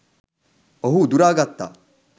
ඔහු උදුරා ගත්තා.